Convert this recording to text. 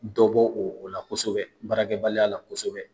Dɔ bɔ o o la kosɛbɛ barakɛbaliya la kosɛbɛ